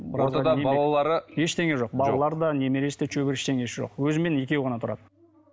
ортада балалары ештеңе жоқ балалары да немересі де шөбересі ештеңесі жоқ өзімен екеуі ғана тұрады